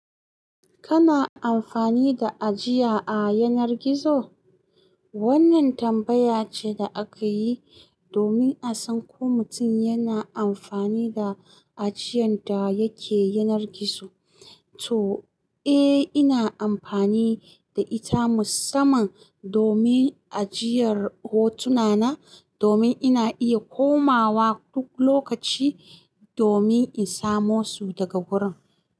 Kana amfani da ajiya a yanar gizo? Wannan tambaya ce da aka yi domin a san ko mutum yana amfani da ajiyan da yake yanar gizo. To, eh, ina amfani da ita musamman domin ajiyar hotuna na domin ina iya komawa duk lokaci domin in samo su daga wurin.